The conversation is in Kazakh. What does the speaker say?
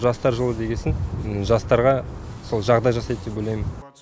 жастар жылы дегесін жастарға сол жағдай жасайды деп ойлаймын